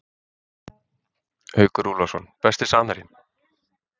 Haukur Úlfarsson Besti samherjinn?